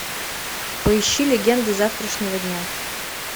поищи легенды завтрашнего дня